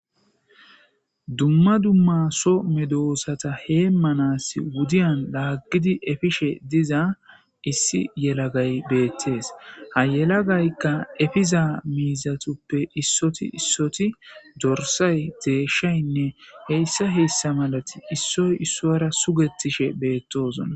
dumma dumma so medoosata hee manas wudiyan laaggidi efishe diza issi yelagay beettees ha yelagaykka efiza miizatuppe issoti issoti dorsay deeshshaynne heyssa heessa malati issoy issora sugettishe beettosona